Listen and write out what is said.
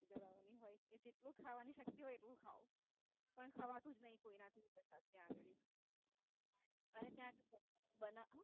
ધરાવવાની હોય કે જેટલી ખાવાની શક્તિ હોય એટલું ખાવ. પણ ખવાતું જ નઈ કોઈનાથી ત્યાં ગાળી. અને ત્યાં સ્પોરચ બનાવે